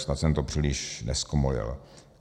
Snad jsem to příliš nezkomolil.